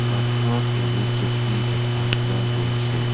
কাঠৰ টেবুল চকী দেখা পোৱা গৈছে।